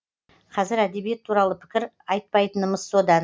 қазір әдебиет туралы пікір айтпайтынымыз содан